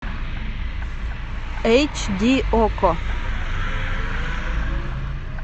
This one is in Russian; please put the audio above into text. эйч ди окко